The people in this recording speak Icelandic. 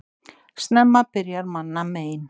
Snemma byrja manna mein.